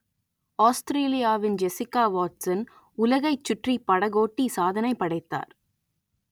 ஆஸ்திரேலியாவின் Jessica Watson உலகைச் சுற்றிப் படகோட்டி சாதனை படைத்தார்